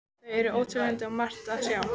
Þau eru óteljandi og margt að sjá.